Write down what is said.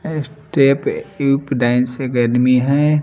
ए step U P dance academy हैं।